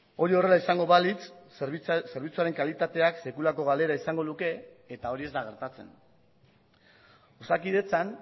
hori horrela izango balitz zerbitzuaren kalitateak sekulako galera izango luke eta hori ez da gertatzen osakidetzan